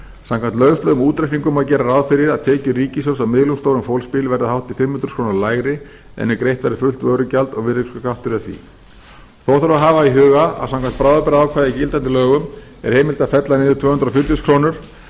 samkvæmt lauslegum útreikningum má gera ráð fyrir að tekjur ríkissjóðs af miðlungsstórum fólksbíl verði hátt í fimm hundruð þúsund krónum lægri en ef greitt væri fullt vörugjald og virðisaukaskattur af því þó þarf að hafa í huga að samkvæmt bráðabirgðaákvæði í gildandi lögum er heimilt að fella niður tvö hundruð fjörutíu þúsund krónur af vörugjaldi